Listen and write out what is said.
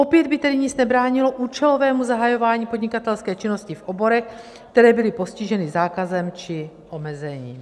Opět by tedy nic nebránilo účelovému zahajování podnikatelské činnosti v oborech, které byly postiženy zákazem či omezením.